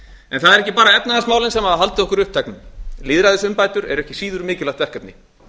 en það eru ekki bara efnahagsmálin sem hafa haldið okkur uppteknum lýðræðisumbætur eru ekki síður mikilvægt verkefni